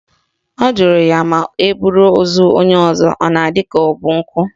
Ọ jụrụ ya ma eburu ozu onye ọzọ ọ dị ka ọ bụ nkụ?